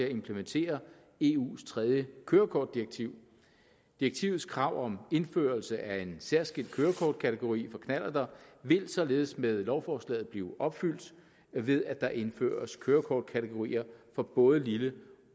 at implementere eu’s tredje kørekortdirektiv direktivets krav om indførelse af en særskilt kørekortkategori for knallerter vil således med lovforslaget blive opfyldt ved at der indføres kørekortkategorier for både lille